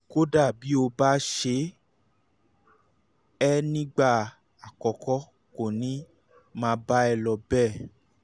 kódà bí ó bá ṣe é ní ìgbà àkọ́kọ́ kò ní máa bá a lọ bẹ́ẹ̀